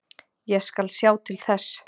Ég skal sjá til þess.